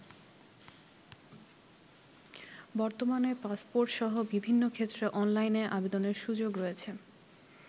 বর্তমানে পাসপোর্টসহ বিভিন্ন ক্ষেত্রে অনলাইনে আবেদনের সুযোগ রয়েছে।